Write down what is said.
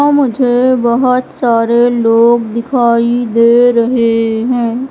यहां मुझे बहुत सारे लोग दिखाई दे रहे हैं।